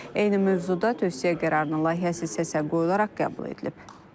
Eyni mövzuda tövsiyə qərarının layihəsi səsə qoyularaq qəbul edilib.